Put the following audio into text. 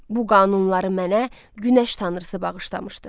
Bu qanunları mənə günəş tanrısı bağışlamışdı.